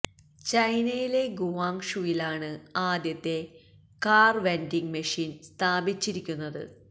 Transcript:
ചൈനയിലെ ഗുവാങ് ഷുവിലാണ് ആദ്യത്തെ കാർ വെൻഡിങ് മെഷിൻ സ്ഥാപിച്ചിരിക്കുന്നത്